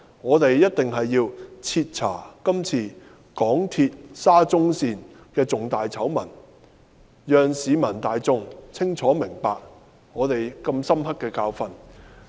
我們定必要徹查港鐵公司今次沙中線的重大醜聞，讓市民大眾清楚明白如此深刻的教訓。